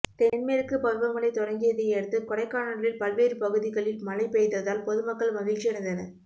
தென்மேற்கு பருவமழை தொடங்கியதையடுத்து கொடைக்கானலில் பல்வேறு பகுதிகளில் மழை பெய்ததால் பொதுமக்கள் மகிழ்ச்சியடைந்தனர்